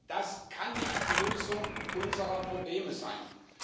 Das kann nicht die Lösung unserer Probleme sein.